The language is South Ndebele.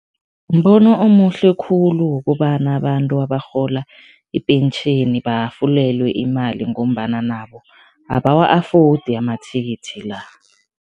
Mbono omuhle khulu wokobana abantu abarhola ipentjheni bahafulelwe imali ngombana nabo abawa-afodi amathikithi la.